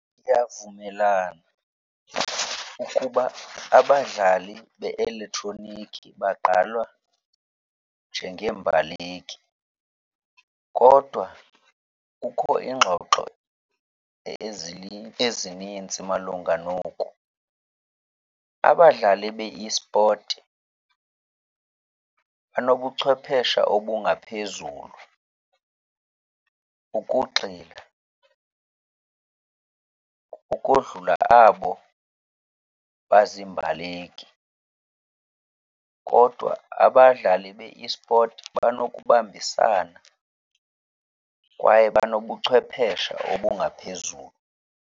Ndiyavumelana ukuba abadlali be-eletroniki bagqalwa njengeembaleki kodwa kukho iingxoxo ezininzi malunga noku. Abadlali be-esport banobuchwepheshe obungaphezulu ukugxila ukodlula abo bazimbaleki, kodwa abadlali be-esport banokubambisana kwaye banobuchwepheshe obungaphezulu.